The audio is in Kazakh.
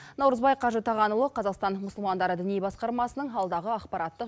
наурызбай қажы тағанұлы қазақстан мұсылмандары діни басқармасының алдағы ақпараттық